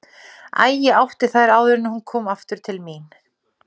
Æ, ég átti þær áður en hún kom aftur til mín.